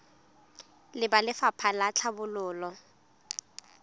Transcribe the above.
le ba lefapha la tlhabololo